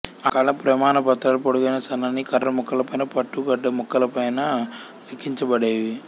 ఆ కాలం ప్రమాణపత్రాలు పొడుగైన సన్నని కర్రముక్కలపైన పట్టుగుడ్డ ముక్కలపైన లిఖించబడేవి